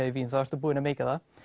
í Vín þá ertu búinn að meika það